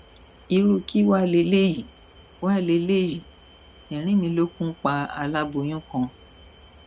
irú kí wàá lélẹyìí wàá lélẹyìí ẹrínmìlókun pa aláboyún kan